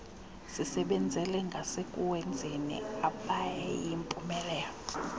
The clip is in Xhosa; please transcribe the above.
sisebenzele ngasekuwenzeni abeyimpumelelo